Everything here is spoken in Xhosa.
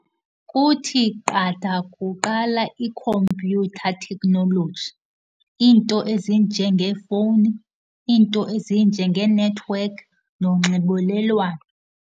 Kuthi qatha kuqala i-computer technology, iinto ezinjengeefowuni, iinto ezinjengee-network nonxibelelwano.